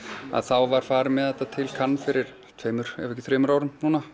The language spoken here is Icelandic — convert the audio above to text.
var farið með þetta til fyrir tveimur eða þremur árum